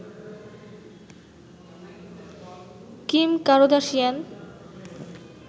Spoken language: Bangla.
Kim Kardashian